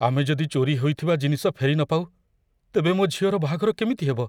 ଆମେ ଯଦି ଚୋରି ହୋଇଥିବା ଜିନିଷ ଫେରି ନ ପାଉ, ତେବେ ମୋ ଝିଅର ବାହାଘର କେମିତି ହେବ।